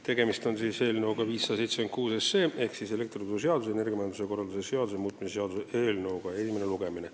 Tegemist on siis eelnõuga 576 ehk siis elektrituruseaduse ja energiamajanduse korralduse seaduse muutmise seaduse eelnõuga, esimene lugemine.